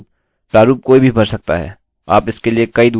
लेकिन इतना ही